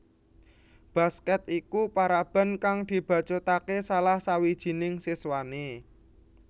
Basket iku paraban kang dibacutake salah sawijining siswane